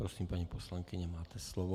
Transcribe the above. Prosím, paní poslankyně, máte slovo.